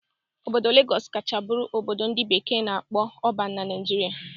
Obodo Lagọs kacha bụrụ obodo ndị bekee na-akpọ 'urban' na Naijiria